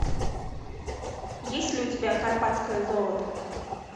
есть ли у тебя карпатское золото